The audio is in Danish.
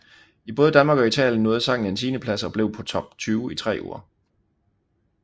I både Danmark og Italien nåede sangen en tiendeplads og blev på Top 20 i tre uger